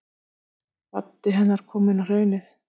Baddi hennar kominn á Hraunið.